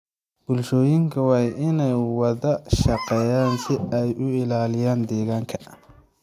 Bulshooyinku waa inay wada shaqeeyaan si ay u ilaaliyaan deegaanka.